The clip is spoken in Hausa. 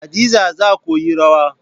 Hadiza za koyi rawar.